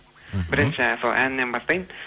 бірінші сол әннен бастайын